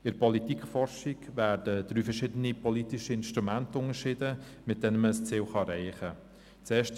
In der Politikforschung werden drei verschiedene politische Instrumente unterschieden, mit denen man ein Ziel erreichen kann.